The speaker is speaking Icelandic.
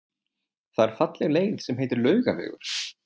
Það er falleg leið sem heitir Laugavegur.